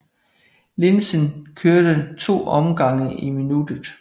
Linsen kørte to omgang i minuttet